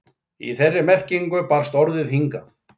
Í þeirri merkingu barst orðið hingað.